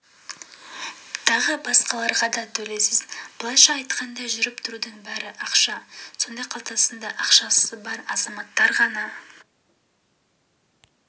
тағы басқаларға да төлейсіз былайша айтқанда жүріп-тұрудың бәрі ақша сонда қалтасында ақшасы бар азаматтар ғана